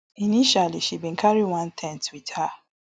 initially she bin carry one ten t with her